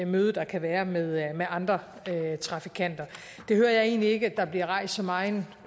møde der kan være med være med andre trafikanter det hører jeg egentlig ikke at der bliver rejst så meget